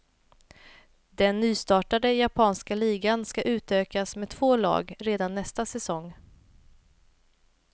Den nystartade japanska ligan ska utökas med två lag redan nästa säsong.